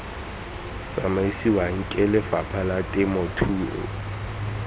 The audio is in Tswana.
tsamisiwang ke lefapha la temothuo